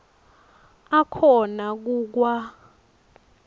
akhona ku kwa